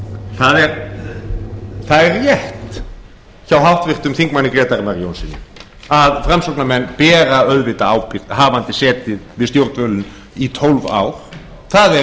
herra forseti það er rétt hjá háttvirtum þingmanni grétari mar jónssyni að framsóknarmenn bera auðvitað ábyrgð hafandi setið við stjórnvölinn í tólf ár það er